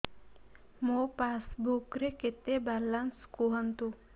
ମୋ ପାସବୁକ୍ ରେ କେତେ ବାଲାନ୍ସ କୁହନ୍ତୁ